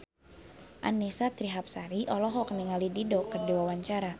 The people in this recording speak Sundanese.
Annisa Trihapsari olohok ningali Dido keur diwawancara